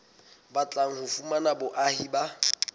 batlang ho fumana boahi ba